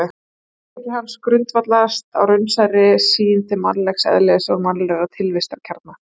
Heimspeki hans grundvallast á raunsærri sýn til mannlegs eðlis og mannlegra tilvistarkjara.